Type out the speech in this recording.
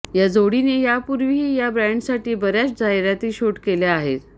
या जोडीने यापूर्वीही या ब्रॅन्डसाठी बर्याच जाहिराती शूट केल्या आहेत